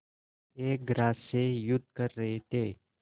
एक ग्रास से युद्ध कर रहे थे